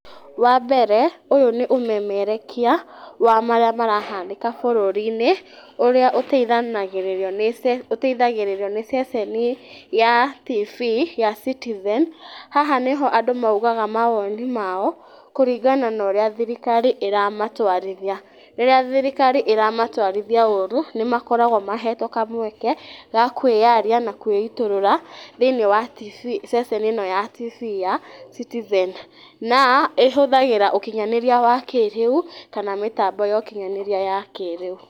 Wambere ũyũ nĩ ũmemerekia wa marĩa marahanĩka bũrũri-inĩ ũrĩa ũteithanagĩrĩrio nĩ ce, ũteithagĩrĩrio ni ceceni ya tv ta Citizen. Haha nĩho andũ maugaga maoni mao kũringana na ũrĩa thirikari ĩramatwarithia. Rĩrĩa thirikari ĩramatwarithia ũũru, nĩmagokarwo mahetwo kamweke ga kwĩyaria na kwĩitũrũra thĩini wa tv ceceni ĩno ya tv ya Citizen. Na ĩhũthagĩra ũkinyanĩirĩa wa kĩrĩu kana mĩtambo ya ũkinyanĩirĩa ya kĩrĩu.